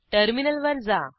टर्मिनलवर जा